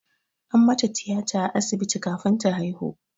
An mata tiyata a asibiti kafin ta haihu.